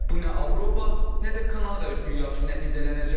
Bu nə Avropa, nə də Kanada üçün yaxşı nəticələnəcək.